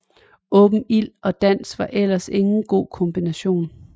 Åben ild og dans var ellers ingen god kombination